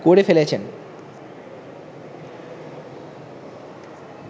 করে ফেলেছেন